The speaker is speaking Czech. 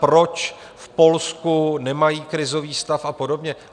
Proč v Polsku nemají krizový stav a podobně?